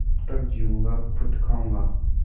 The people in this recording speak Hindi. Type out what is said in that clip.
जब तक जीऊँगा खुद खाऊँगा